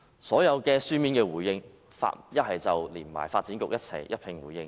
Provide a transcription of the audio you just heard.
所提供的書面回應中，全是與發展局或市建局一併回應。